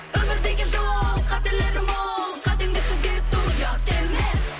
өмір деген жол қателері мол қатеңді түзету ұят емес